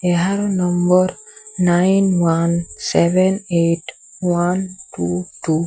ଏହାର number nine one seven eight one two two.